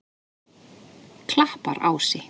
Klapparási